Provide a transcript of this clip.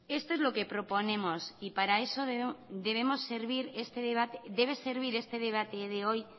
esto es lo que proponemos y para eso debe servir este debate de hoy